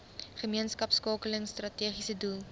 gemeenskapskakeling strategiese doel